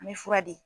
An bɛ fura di